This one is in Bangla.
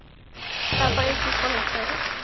তারপরে কি করেছেন